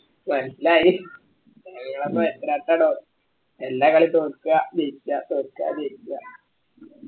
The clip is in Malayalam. മനസ്സിലായി എല്ലാം എല്ലാ കളിയും തോൽക്ക ജയിക്ക തോക്ക ജയിക്ക